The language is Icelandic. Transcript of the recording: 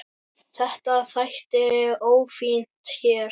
Þetta þætti ófínt hér.